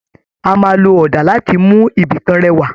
A máa lò ọdà láti mú ibìkan rẹwà.